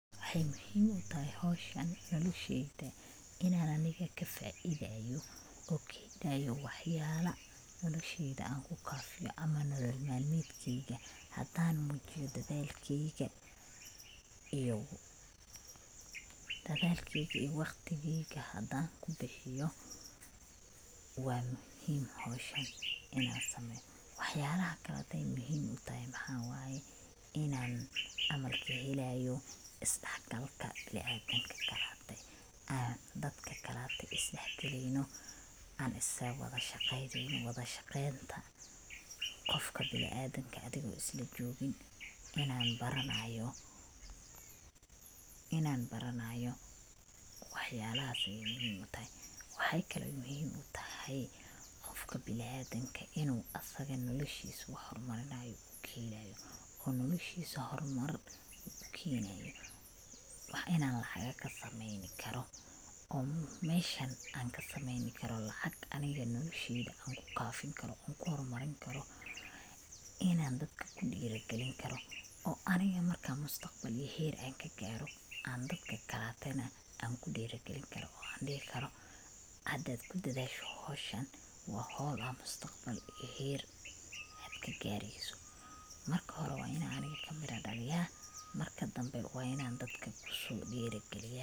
Waxay muhim utahay howshan nolosheyda inan aniga kaa faidayo, oo kahelaayo wax yala nolosheyda anku kaafiyo ama nolol malmedkeyga hadan muujiyo dadalkeyga iyo waqtigeyga hadan ku bixiyo waa muhim howshan inan sameeyo. waxyala kaleto muhim utahay maxaa waye, inan camal kahelayo isdhaxgalka bini adamka kalate, dadka kalate isdhax galeyno an isla wada shaqeyneyno, wada shaqeynta qofka bini adamka adigo isla jogiin inan baranayp wax yalahaas ayay muhim utahay. waxay kale oy muhim utahay qofka bini adamka inu asaga noloshiis wax hor mar kahelayo oo noloshiis hor Mar ukeenayo, wax in an lacaga kasameeyni karo on meshan an kasameeyni karo lacag aniga nolosheyda anku kaafin karo, ku hor marin karo, ku kaafin karo, inan dadka kudhiiri geli karo oo aniga marka mustaqbalehey anka gaaro an dadka kalate anku dhiiri gelin karo an dhihi karo hadad kudadaasho howshan waa howl ad mustaqbal iyo heer ad kagaareyso, marka hore waa inan aniga kamira dhaliyaa marka dambe waa inan dadka kuso dhiiri geliya